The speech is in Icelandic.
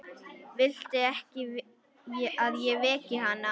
Viltu að ég veki hana?